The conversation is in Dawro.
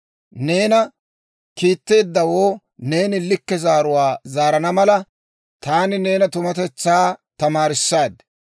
Neena kiitteeddawoo neeni likke zaaruwaa zaarana mala, taani neena tumatetsaa tamaarissaad.